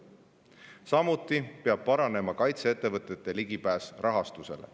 Samuti peab paranema kaitseettevõtete ligipääs rahastusele.